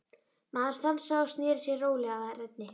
Maðurinn stansaði og sneri sér rólega að Erni.